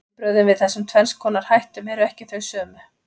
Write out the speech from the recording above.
Viðbrögðin við þessum tvenns konar hættum eru ekki þau sömu.